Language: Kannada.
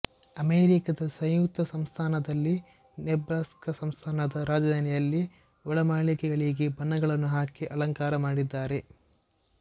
ಅಮೆರಿಕದ ಸಂಯುಕ್ತ ಸಂಸ್ಥಾನದಲ್ಲಿ ನೆಬ್ರಾಸ್ಕ ಸಂಸ್ಥಾನದ ರಾಜಧಾನಿಯಲ್ಲಿ ಒಳಮಾಳಿಗೆಗಳಿಗೆ ಬಣ್ಣಗಳನ್ನು ಹಾಕಿ ಅಲಂಕಾರ ಮಾಡಿದ್ದಾರೆ